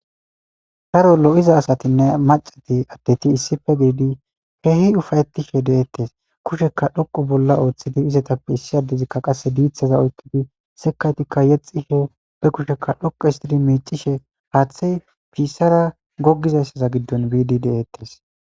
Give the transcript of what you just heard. Daro lo'iza asatinne macati addeti issife giidi keehi ufayetishe deettes kusheka dhoqu bolla ooththidi izetappe issi addezikka qasse diithaza oykkidi sekaytikka yexishe be kushekka dhoqu histidi miicishe haaththey piissara gogizayssaza giddon biidi deettes